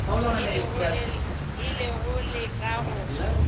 e le go leka go